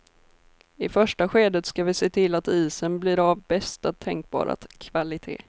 I första skedet ska vi se till att isen blir av bästa tänkbara kvalite.